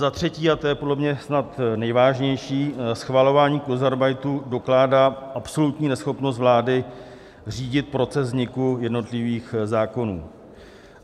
Za třetí - a to je podle mě snad nejvážnější - schvalování kurzarbeitu dokládá absolutní neschopnost vlády řídit proces vzniku jednotlivých zákonů.